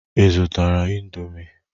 Ị zụtara indomie?